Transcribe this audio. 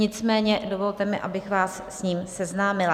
Nicméně dovolte mi, abych vás s ním seznámila.